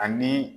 Ani